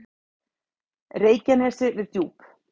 Reykjanesi við Djúp.